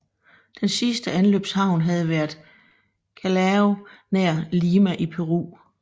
Den sidste anløbshavn havde været Callao nær Lima i Peru